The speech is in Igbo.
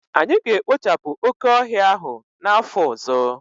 Anyị ga-ekpochapụ oke ọhịa ahụ n'afọ ọzọ